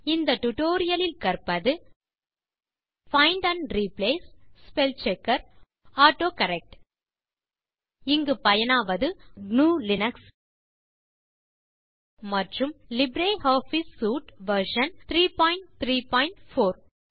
இந்த டுடோரியலில் கற்பது find and replace spellchecker autocorrect இங்கு பயனாவது gnuலினக்ஸ் மற்றும் லிப்ரியாஃபிஸ் சூட் வெர்ஷன் 334